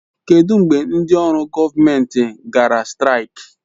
Kedụ mgbe ndị ọrụ gọọmentị gara straik?